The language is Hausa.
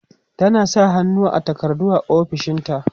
tana sa hannu a takardu a ofishinta